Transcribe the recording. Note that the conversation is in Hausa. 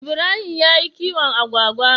Ibrahim yayi kiwon Agwagwa